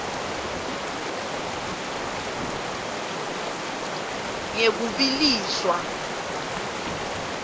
ngekubiliswa